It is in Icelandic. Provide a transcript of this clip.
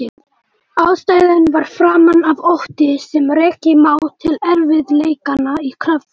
Ástæðan var framan af ótti sem rekja má til erfiðleikanna í Kröflu.